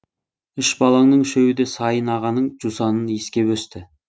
үш балаңның үшеуі де сайын ағаның жусанын иіскеп өсті